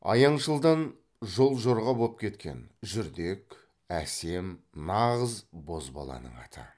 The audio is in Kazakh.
аяңшылдан жол жорға боп кеткен жүрдек әсем нағыз бозбаланың аты